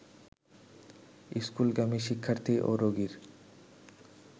স্কুলগামী শিক্ষার্থী ও রোগীর